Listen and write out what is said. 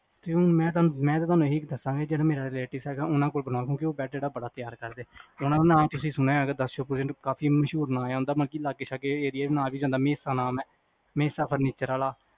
ਮੈਂ ਤਾਂ ਤੁਹਾਨੂੰ ਇਹੀ ਦੱਸਾਂਗਾ ਜਿਹੜਾ ਮੇਰਾ relatives ਹੈਗਾ ਓਹਨਾ ਕੋਲ ਬਣਾਓ ਕਿਓਂਕਿ ਉਹ ਜਿਹੜਾ ਬੈਡ ਹੈਗਾ ਬੜਾ ਤਿਆਰ ਕਰਦੇ ਓਹਨਾ ਦਾ ਨਾ ਤੁਸੀ ਸੁਣਿਆ ਹੋਏਗਾ ਦਰਸ਼ਨ ਕਾਫੀ ਮਸ਼ਹੂਰ ਨਾ ਹੈ ਓਹਦਾ ਬਲਕਿ ਲਾਗੇ ਸ਼ਾਗੇ ਏਰੀਆ ਚ ਆ ਵੀ ਜਾਂਦਾ ਮਹਿਸਾ ਨਾਮ ਹੈ ਮਹਿਸਾ furniture ਆਲਾ